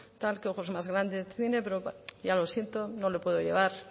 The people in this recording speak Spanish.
qué ojos más grandes tiene pero ya lo siento no lo puedo llevar